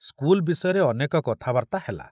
School ବିଷୟରେ ଅନେକ କଥାବାର୍ତ୍ତା ହେଲା।